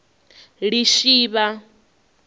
lishivha